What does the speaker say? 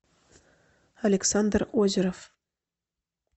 александр озеров